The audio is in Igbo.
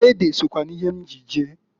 Ede sokwa n'ihe m ji je.